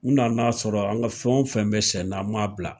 U nana sɔrɔ an ka fɛn wo fɛn be sen na an ma bila.